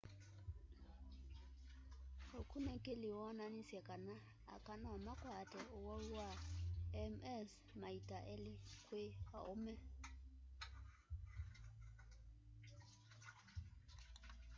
ukunikili wonanisye kana aka nomakwate uwau wa ms maita eli kwi aume